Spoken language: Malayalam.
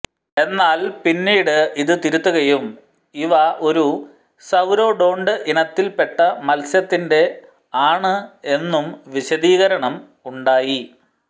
എന്നാൽ പിന്നിട് ഇത് തിരുത്തുകയും ഇവ ഒരു സൌരോഡോണ്ട് ഇനത്തിൽ പെട്ട മത്സ്യത്തിന്റെ ആണ് എന്നും വിശദീകരണം ഉണ്ടായി